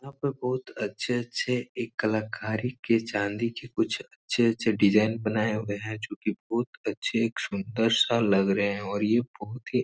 यहाँ पर बहोत अच्छे-अच्छे एक कलाकारी के चांदी के कुछ अच्छे-अच्छे डिजाइन बनाये हुए हैं जो कि बहोत अच्छे सुंदर-सा लग रहे हैं और ये बहोत ही --